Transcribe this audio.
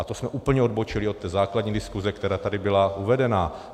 A to jsme úplně odbočili od té základní diskuse, která tady byla uvedena.